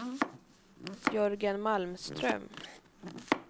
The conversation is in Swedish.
Jörgen Malmström